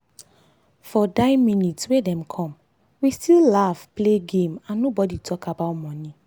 for die minute wey dem come we still laugh play game and nobody talk about money.